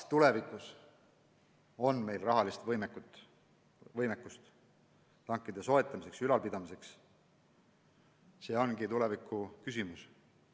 Kas meil tulevikus on võimekust tankide soetamiseks ja ülalpidamiseks, see ongi tulevikuküsimus.